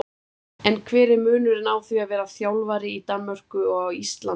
En hver er munurinn á því að vera þjálfari í Danmörku og á Íslandi?